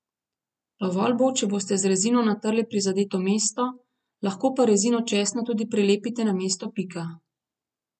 Dovolj bo, če boste z rezino natrli prizadeto mesto, lahko pa rezino česna tudi prilepite na mesto pika.